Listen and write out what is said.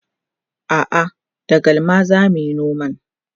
a'a da galma zamuyi noman